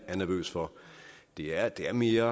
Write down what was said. er nervøs for det er det er mere